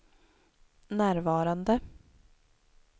närvarande